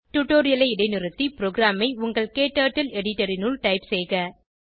டுடோரியலை இடைநிறுத்தி ப்ரோகிராமை உங்கள் க்டர்ட்டில் எடிட்டர் இனுள் டைப் செய்க